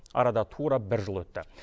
арада тура бір жыл өтті